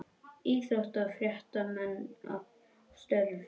Íþróttafréttamenn að störfum.